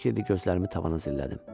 Fikirli-fikirli gözlərimi tavana zillədim.